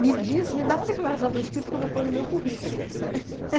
Me diz, me dá uma declaração por escrito que eu vou pôr no meu currículo.